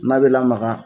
N'a bɛ lamaga